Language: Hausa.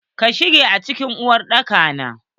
Ka sha cigari a cikin uwar daka na?